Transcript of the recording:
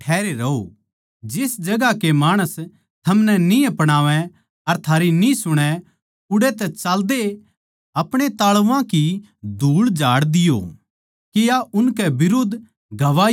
जिस जगहां के माणस थमनै न्ही अपणावै अर थारी न्ही सुणै उड़ै तै चाल्देए आपणे ताल्वां की धूळ झाड़ दियो के या उनकै बिरुद्ध गवाही होवै